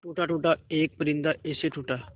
टूटा टूटा एक परिंदा ऐसे टूटा